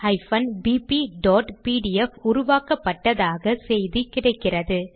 maths bpபிடிஎஃப் உருவாக்கப்பட்டதாக செய்தி கிடைக்கிறது